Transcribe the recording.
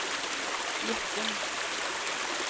Gjettum